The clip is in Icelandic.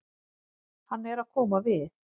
Hann er að koma við.